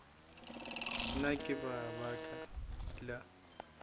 na ke ka baka la